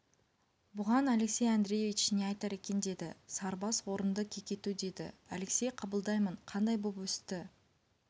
бұған алексей андреевич не айтар екен деді сарыбас орынды кекету деді алексей қабылдаймын қандай боп өсті